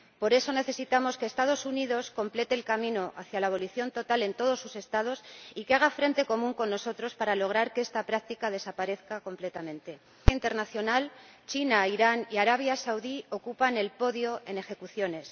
Por eso, necesitamos que los Estados Unidos completen el camino hacia la abolición total en todos sus Estados y que hagan frente común con nosotros para lograr que esta práctica desaparezca completamente. Según Amnistía Internacional, China, Irán y Arabia Saudí ocupan el podio en ejecuciones.